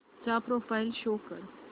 चा profile show कर